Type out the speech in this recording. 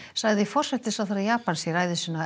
sagði forsætisráðherra Japans í ræðu sinni á